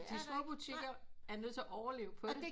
De store butikker er nødt til at overleve på det